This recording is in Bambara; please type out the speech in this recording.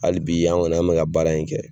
Hali bi an kɔni an mɛ ka baara in kɛ.